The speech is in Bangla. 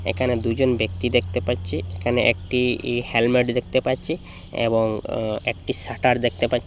এখানে দুজন ব্যক্তি দেখতে পাচ্ছি এখানে একটি-ই হেলমেট দেখতে পাচ্ছি এবং আঃ একটি শাটার দেখতে পাছ--